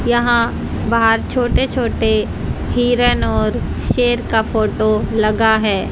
यहां बाहर छोटे छोटे हिरन और शेर का फोटो लगा है।